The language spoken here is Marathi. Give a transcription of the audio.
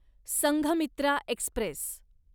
संघमित्रा एक्स्प्रेस